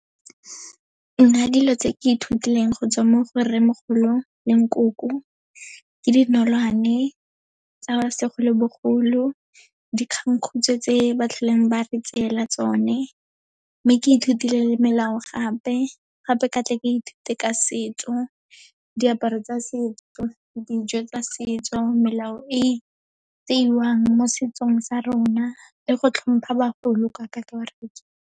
Nna dilo tse ke ithutileng go tswa mo go rremogolo le nkoko, ke dinolwane tsa segolobogolo, dikgangkhutshwe tse ba tlholeng ba re tseela tsone. Mme ke ithutile le melao gape, gape ke tle ke ithute ka setso, diaparo tsa setso, dijo tsa setso, melao e tseiwang mo setsong sa rona le go tlhompha bagolo ka kakaretso.